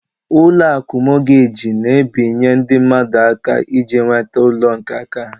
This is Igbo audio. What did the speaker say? Ụlọakụ Mọgeji na-ebinye ndị mmadụ ego iji nweta ụlọ nke áká ha.